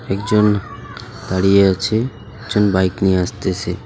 একজন দাঁড়িয়ে আছে একজন বাইক নিয়ে আসতেছে.